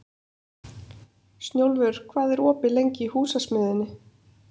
Snjólfur, hvað er opið lengi í Húsasmiðjunni?